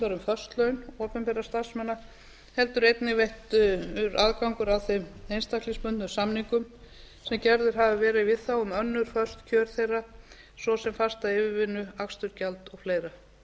laun opinberra starfsmanna heldur einnig veittur aðgangur að þeim einstaklingsbundnu samningum sem gerður hafði verið við þá um önnur föst kjör þeirra svo sem fasta yfirvinnu akstursgjald o fl